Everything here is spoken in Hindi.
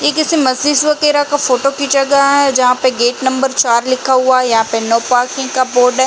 ये किसी मस्जिद वगेरा का फोटो खीचा गया है। जहां पे गेट नंबर चार लिखा हुआ है। यहाँ पे नो पार्किंग का बोर्ड है।